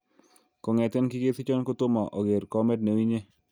Kongeten kikesichon kotomo oker kamet neu inye